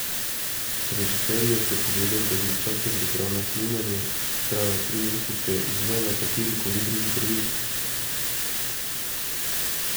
Režiser ji je prepovedal, da bi v času priprav na snemanje, ki so trajale tri mesce, izvajala kateri koli drugi projekt.